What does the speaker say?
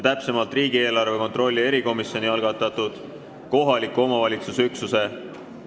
Täpsemalt, riigieelarve kontrolli erikomisjoni algatatud kohaliku omavalitsuse üksuse ...